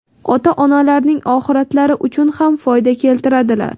ota-onalarining oxiratlari uchun ham foyda keltiradilar.